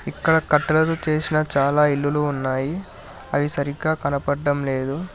ఇక్కడ కట్టెలతో చేసిన చాలా ఇల్లులు ఉన్నాయి అవి సరిగ్గా కనపడ్డం లేదు.